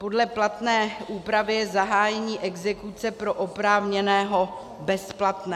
Podle platné úpravy je zahájení exekuce pro oprávněného bezplatné.